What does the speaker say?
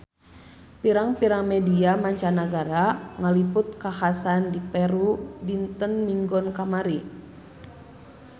Pirang-pirang media mancanagara ngaliput kakhasan di Peru dinten Minggon kamari